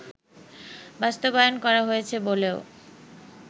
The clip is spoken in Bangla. বাস্তবায়ন করা হয়েছে বলেও